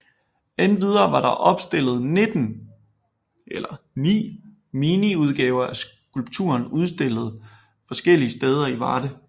Endvidere var der opstillet 9 mini udgaver af skulpturen udstillet forskellige steder i Varde